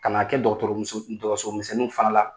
Ka na a kɛ dɔgɔtɔmuso dɔgɔtɔsomisɛnnu fana la.